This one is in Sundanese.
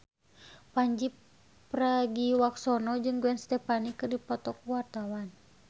Pandji Pragiwaksono jeung Gwen Stefani keur dipoto ku wartawan